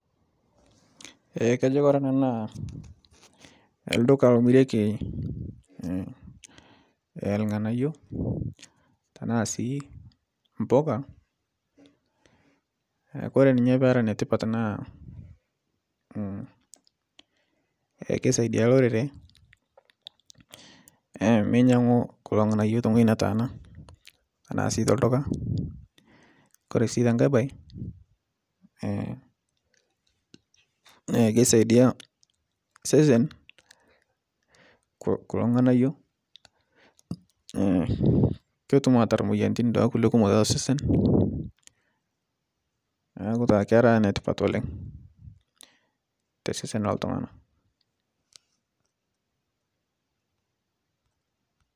Kajo Kore ana naa lduka lomireki lng'anayuo tanasi mpoka Kore ninche pera netipat naa keisidai lorere meinyang'u kulo lng'anayuo teng'oji netanaa tanasii telduka, Kore si tenkae bae keisadia sesen kulo lng'anayuo petum atar moyiantin duake kule kumok tesesen naaku taa kera netipat oleng tesesen loltungana.